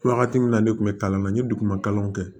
Wagati min na ne kun bɛ kalan na n ye duguma kalanw kɛ